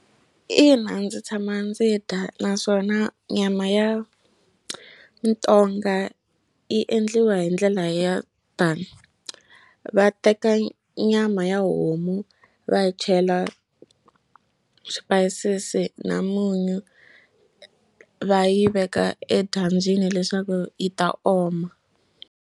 Ina ndzi tshama ndzi dya naswona nyama ya mutonga yi endliwa hi ndlela ya tani va teka nyama ya homu va chela swipayisisi na munyu va yi veka edyambyini leswaku yi ta oma.